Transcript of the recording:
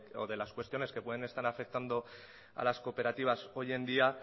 o de las cuestiones que pueden estar afectando a las cooperativas hoy en día